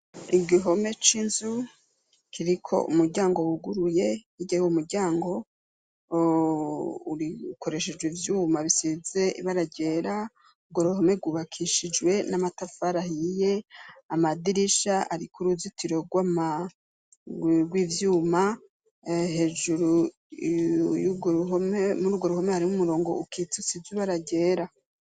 Igihome c'inzu kiriko umuryango wuguruye, hirya y'uwo muryango ukoreshejwe ivyuma bisize ibara ryera, uruhome rwubakishijwe n'amatafari ahiye, amadirisha ariko uruzitiro rw'ivyuma hejuru muri urwo ruhome harimwo umurongo ukitse usize ibara ryera.